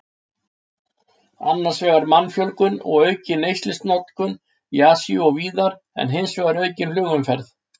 Annars vegar mannfjölgun og aukin eldsneytisnotkun í Asíu og víðar, en hins vegar aukin flugumferð.